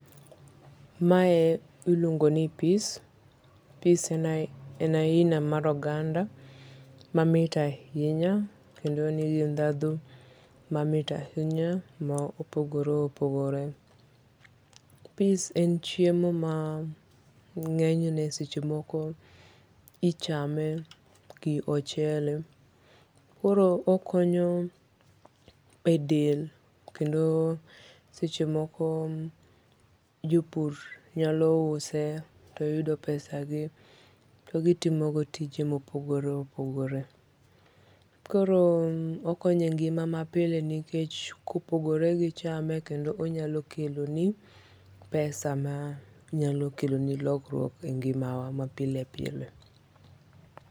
Mae iluongo ni peas. peas en aina mar oganda mamit ahinya kendo en gi ndhandhu mamit ahinya maopogoreopogore peas en chiemo mangenyne seche moko ichame gi ochele koro okonyo e del kendo seche moko jopur nyalo use toyudo pesa gi togitimo go tije mopogore opogore. Koro okonyo e ngima mapile nikech kopogore gi chame kendo onyalokeloni pesa makeloni lokruok e ngima wa mapilepile